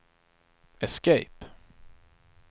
escape